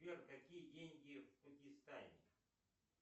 сбер какие деньги в пакистане